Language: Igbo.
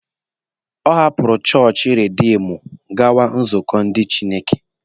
Ọ hapụrụ chọọchị Rediimdu gawa nzukọ ndị Chineke.